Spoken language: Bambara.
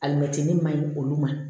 Alimɛtiri ma ɲi olu ma